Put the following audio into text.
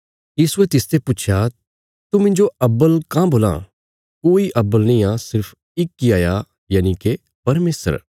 यीशुये तिसते पुच्छया तू मिन्जो अव्वल काँह बोलां कोई अव्वल नींआ सिर्फ इक इ हाया यनिके परमेशर